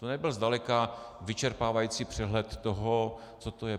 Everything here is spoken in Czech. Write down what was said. To nebyl zdaleka vyčerpávající přehled toho, co to je.